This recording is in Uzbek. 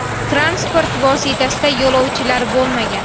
Transport vositasida yo‘lovchilar bo‘lmagan.